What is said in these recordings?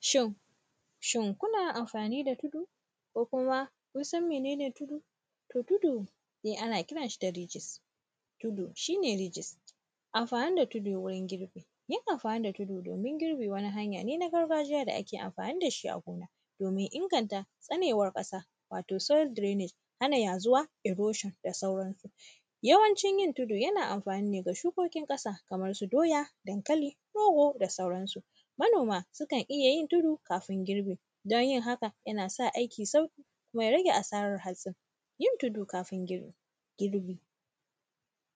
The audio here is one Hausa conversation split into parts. Shin, shin, kuna amfani da tudu ko kuma kun san mene ne tudu? To, tudu de ana kiran shi da “ridges”, tudu, shi ne “ridges”. Amfani da tudu wurin girbi, yin amfani da tudu domin girbe wani hanya ne na gargajiya da ake amfani da shi a gona, domin inganta tsanewar ƙasa. Wato, “soil drainage”, hana yazuwa “erosion” da sauransu Yawancin yin tudu, yana amfani ne ga shukokin ƙasa, kamar su doya, dankali, rogo da sauransu. Manoma, sukan iya yin tudu kamin girbi, don yin haka, yana sa aikin sauƙi kuma ya rage asarar hatsin. Yin tudu kafin girb; girbi,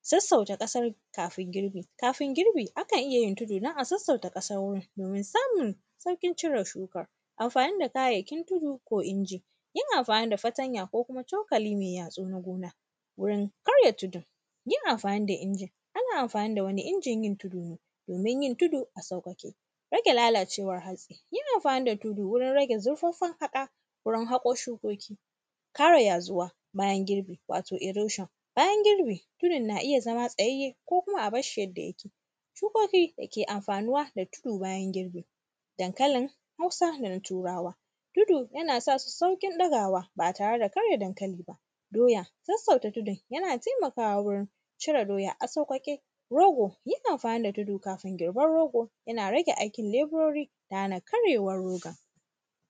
sassauta ƙasar kafin girbi. Kafin girbi, akan iya yin tudu don a sassauta ƙasar wurin, domin samun sauƙin cire shukan. Amfani da kayayyakin tudu ko inji, yin amfani da fatanya ko kuma cokali me yatsu na gona, wurin karya tudun. Yin amfani da injin, ana amfani da wani injin yin tudu ne, domin yin tudu a saukake. Rage lallacewar hatsi, yin amfani da tudu wurin rage zurfaffen haƙawurin haƙo shukoki. Kare yazuwa bayan girbi, wato, “erosion”, bayan girbi, wurin na iya zama tsayayye ko kuma a bash shi yadda yake. Shukoki da ke amfanuwa da tudu bayan girbi, dankalin Hausa da na Turawa, tudu yana sa su saurin ɗagawa ba tare da karya dankali ba. Doya, sassauta tudun, yana temakawa wurin cire doya a sauƙaƙe. Rogo, yin amfani da tudu kafin girban rogo, yana rage aikinleburori da hana karyewar rogon.